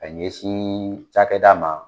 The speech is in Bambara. Ka ɲɛsin cakɛda ma